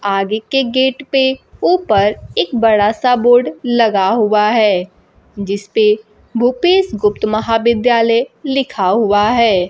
आगे के गेट पे ऊपर एक बड़ा सा बोर्ड लगा हुआ है जिसपे भूपेश गुप्त महाविद्यालय लिखा हुआ है।